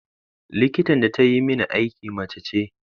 Likitan da ta yi mani aiki mace ce.